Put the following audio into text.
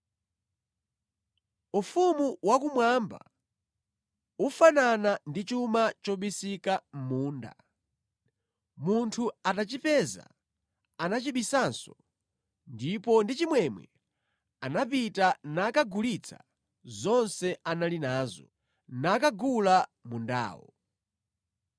“Ufumu wakumwamba ufanana ndi chuma chobisika mʼmunda. Munthu atachipeza anachibisanso ndipo ndi chimwemwe anapita nakagulitsa zonse anali nazo, nakagula mundawo.